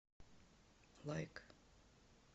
лайк